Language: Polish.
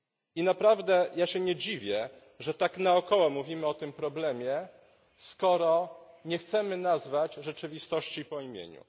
I naprawdę ja się nie dziwię, że tak naokoło mówimy o tym problemie, skoro nie chcemy nazwać rzeczywistości po imieniu.